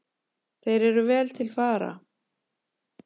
Þeir eru vel til fara.